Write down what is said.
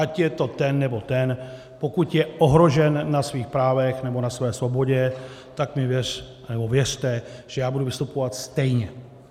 Ať je to ten, nebo ten, pokud je ohrožen na svých právech nebo na své svobodě, tak mi věřte, že já budu vystupovat stejně.